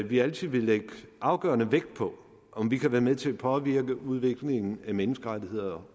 vi altid vil lægge afgørende vægt på om vi kan være med til at påvirke udviklingen af menneskerettigheder